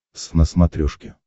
твз на смотрешке